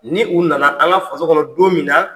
Ni u nana an ka faso kɔnɔ don min na.